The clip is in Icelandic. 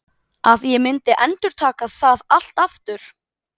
Að ég myndi endurtaka það allt aftur?